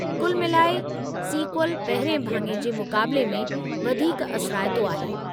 कुल मिलाए, सीक्वल पहिरिएं भाङे जे मुक़ाबले में वधीक असराईतो आहे।